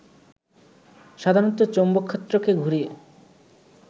সাধারণত চৌম্বকক্ষেত্রকে ঘুরিয়ে